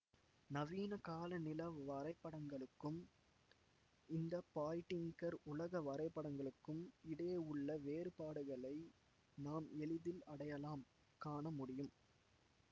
நவீன கால நில வரைபடங்களுக்கும் இந்த பாய்டிங்கர் உலக வரைபடங்களுக்கும் இடையே உள்ள வேறுபாடுகளை நாம் எளிதில் அடையாளம் காணமுடியும்